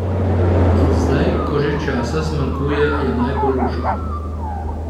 In zdaj, ko že časa zmanjkuje, je najbolj luštno!